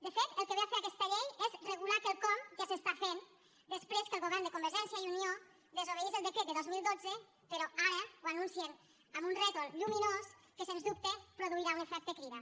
de fet el que ve a fer aquesta llei és regular quelcom que es fa després que el govern de convergència i unió desobeís el decret del dos mil dotze però ara ho anuncien amb un rètol lluminós que sens dubte produirà un efecte crida